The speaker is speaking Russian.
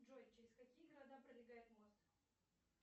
джой через какие города пролегает мост